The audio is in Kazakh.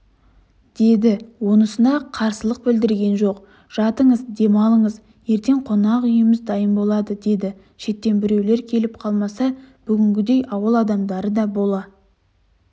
деді онысына да қарсылық білдірген жоқ жатыңыз дем алыңыз ертең қонақ үйіміз дайын болады деді шеттен біреулер келіп қалмаса бүгінгідей ауыл адамдары да бола